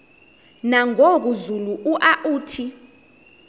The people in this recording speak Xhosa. nangoku zulu uauthi